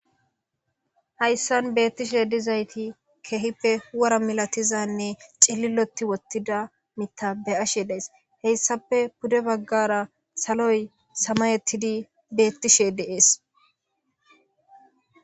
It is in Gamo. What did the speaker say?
Hayssan beettishe dizayti keehippe wora milatizanne cililoti wottida mita be ashe dees heyssape pude baggara saloy samayettidi beettishe deees.